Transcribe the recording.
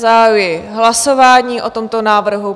Zahajuji hlasování o tomto návrhu.